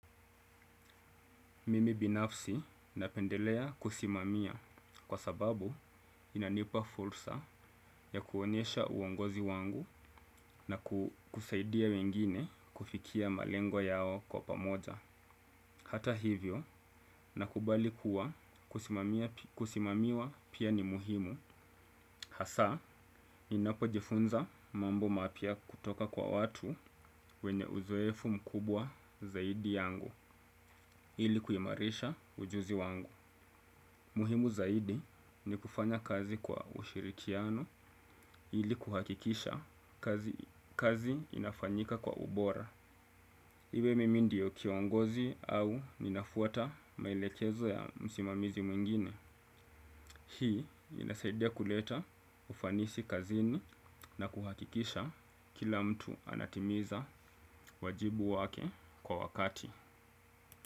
Mimi binafsi napendelea kusimamia kwa sababu inanipa fursa ya kuonyesha uongozi wangu na kusaidia wengine kufikia malengo yao kwa pamoja. Hata hivyo, nakubali kuwa kusimamiwa pia ni muhimu. Hasa, ninapojifunza mambo mapya kutoka kwa watu wenye uzoefu mkubwa zaidi yangu ili kuimarisha ujuzi wangu. Muhimu zaidi ni kufanya kazi kwa ushirikiano ili kuhakikisha kazi inafanyika kwa ubora. Iwe mimi ndio kiongozi au ninafuata maelekezo ya msimamizi mwingine. Hii inasaidia kuleta ufanisi kazini na kuhakikisha kila mtu anatimiza wajibu wake kwa wakati.